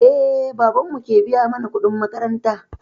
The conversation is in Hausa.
Eh, babanmu ke biya mana kuɗin makaranta.